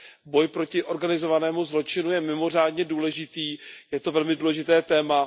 Boj proti organizovanému zločinu je mimořádně důležitý, je to velmi důležité téma.